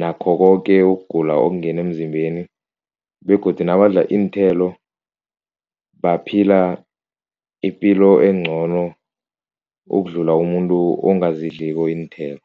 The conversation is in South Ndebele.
nakho koke ukugula okungena emzimbeni begodu nabadla iinthelo baphila ipilo encono ukudlula umuntu ongazidliko iinthelo.